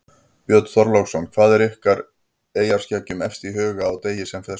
Björn Þorláksson: Hvað er ykkur eyjaskeggjum efst í huga á degi sem þessum?